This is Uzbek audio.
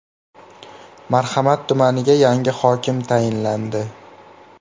Marhamat tumaniga yangi hokim tayinlandi.